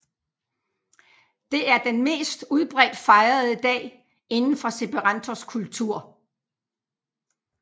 Det er den mest udbredt fejrede dag indenfor esperantos kultur